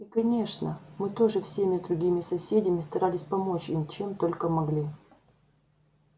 и конечно мы тоже вместе с другими соседями старались помочь им чем только могли